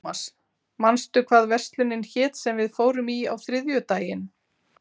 Thomas, manstu hvað verslunin hét sem við fórum í á þriðjudaginn?